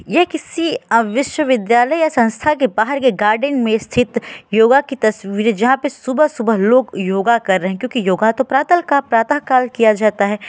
ये किसी अ विश्वविद्यालय या संस्था के बाहर के गार्डन में स्थित योग की तस्वीर है जहाँ पे लोग सुबह-सुबह योगा कर रहे हैं क्योकि योगा तो प्रातलका किया जाता है।